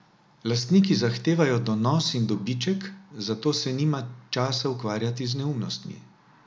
Lastniki zahtevajo donos in dobiček, zato se nima časa ukvarjati z neumnostmi.